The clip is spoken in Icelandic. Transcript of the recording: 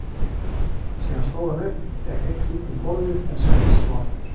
Síðan stóð hann upp, gekk einn hring um gólfið en settist svo aftur.